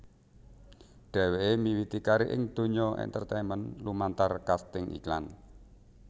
Dheweké miwiti karir ing donya entertainment lumantar kasting iklan